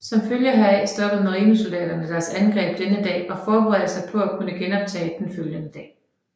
Som følge heraf stoppede marinesoldaterne deres angreb denne dag og forberedte sig på at kunne genoptage det den følgende dag